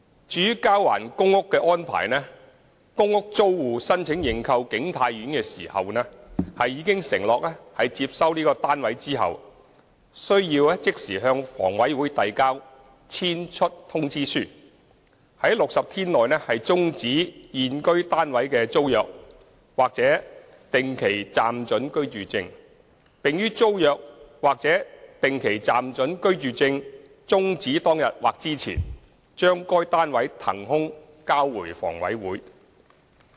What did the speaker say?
至於交還公屋的安排，公屋租戶申請認購景泰苑時，已承諾在接收單位後須即時向房委會遞交"遷出通知書"，在60天內終止現居單位的租約或定期暫准居住證，並於租約或定期暫准居住證終止當日或之前將該單位騰空交回房委會。